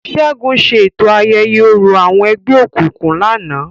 Segun ṣe eto ayẹyẹ orȯ awọn ẹgbẹokunkun lánàá.